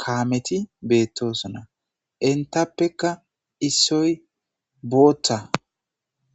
kaameti beettoosona. Enttappeka issoy bootha